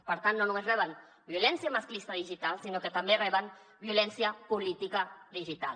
per tant no només reben violència masclista digital sinó que també reben violència política digital